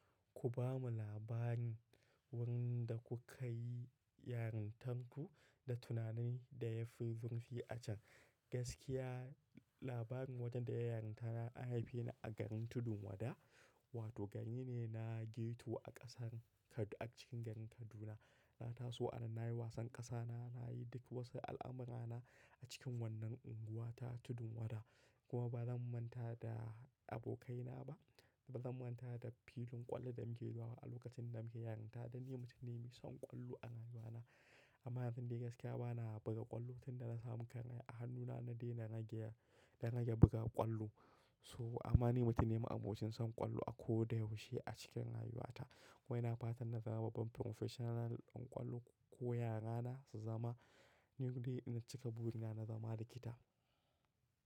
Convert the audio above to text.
Ku bamu labarin wurin da kuka yi yarintarku da tunanin da ya fi zirfi a can. Gaskiya labarin wajen da ya yi yarinta na an haifeni a garin Tudun Wada, wato gari ne na ghetto a ƙasar Ka, a cikin garin Kaduna. Na taso a nan, na yi wasan ƙasa na, na yi duk wasu al'amura na a cikin wannan unguwa ta Tudun Wada. Kuma ba zan manta da abokaina ba, ba zan manta da filin ƙwallo da muke zuwa a lokacin da muke yarinta. Dan ni mutum ne mai son ƙwallo a rayuwa na. Amma yazu dai gaskiya bana buga ƙwallo tun da na samu karaya. A hannuna na dai na rage, rage buga ƙwallo. So ama ni mutum ne ma'abucin son ƙwallo a koda yaushe a cikin rayuwa ta. Wai na fatan na zama babban professional ɗin ƙwallo ko ya rana su zama ni dai in cika buri na, na zama likita.